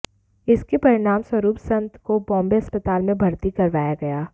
इसके परिणामस्वरूप संत को बॉम्बे अस्पताल में भर्ती करवाया गया